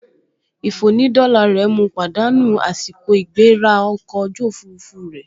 Ìfònídọ́la rẹ̀ mu pàdánù àsìkò ìgbéra ọkọ̀ ojú òfurufú rẹ̀